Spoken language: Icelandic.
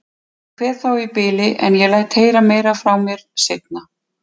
Ég kveð þá í bili, en ég læt heyra meira frá mér seinna.